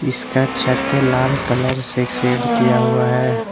इसका छत लाल कलर से सेट किया हुआ है।